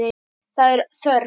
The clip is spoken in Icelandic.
Það er þörf.